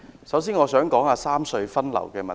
首先，我想說三隧分流的問題。